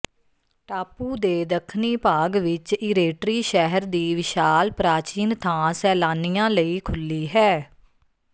ਟਾਪੂ ਦੇ ਦੱਖਣੀ ਭਾਗ ਵਿੱਚ ਈਰੇਟਰੀ ਸ਼ਹਿਰ ਦੀ ਵਿਸ਼ਾਲ ਪ੍ਰਾਚੀਨ ਥਾਂ ਸੈਲਾਨੀਆਂ ਲਈ ਖੁੱਲੀ ਹੈ